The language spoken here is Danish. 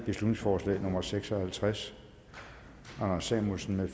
beslutningsforslag nummer b seks og halvtreds anders samuelsen